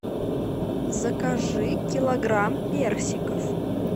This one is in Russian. закажи килограмм персиков